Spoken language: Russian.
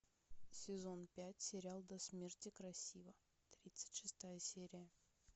сезон пять сериал до смерти красива тридцать шестая серия